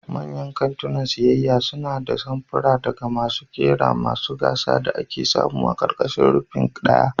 Manyan kantunan siyayya suna da samfura daga masu kera masu gasa da ake samu a ƙarƙashin rufin ɗaya.